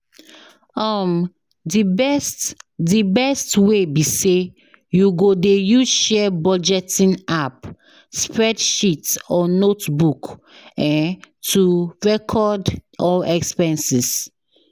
um di best di best way be say you go dey use share budgeting app, spreadsheet or notebook um to recored all expenses.